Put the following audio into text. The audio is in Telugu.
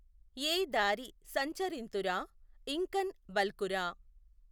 ఏ దారి సంచరింతురా ఇఁకఁ బల్కురా